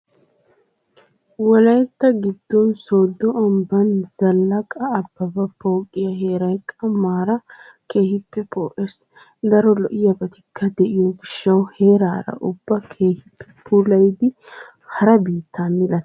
Wolaytta giddon sooddo ambban Zallaqa Ababa pooqiyaa heeraay qammaaraa keehippe poo"ees. Daro lo"iyaabatikka de"iyoo gishsawu heeraara ubbaa keehippe puulayidi hara biittaa milatissees.